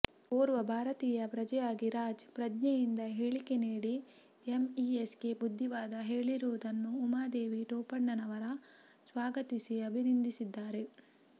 ಓರ್ವ ಭಾರತೀಯ ಪ್ರಜೆಯಾಗಿ ರಾಜ್ ಪ್ರಜ್ಞೆಯಿಂದ ಹೇಳಿಕೆ ನೀಡಿ ಎಂಇಎಸ್ಗೆ ಬುದ್ದಿವಾದ ಹೇಳಿರುವುದನ್ನು ಉಮಾದೇವಿ ಟೋಪಣ್ಣವರ ಸ್ವಾಗತಿಸಿ ಅಭಿನಂದಿಸಿದ್ದಾರೆ